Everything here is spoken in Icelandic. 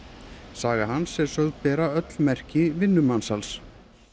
saga hans er sögð bera öll merki vinnumansals